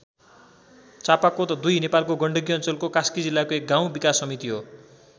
चापाकोत २ नेपालको गण्डकी अञ्चलको कास्की जिल्लाको एक गाउँ विकास समिति हो।